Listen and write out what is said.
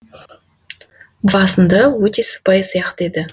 басында өте сыпайы сияқты еді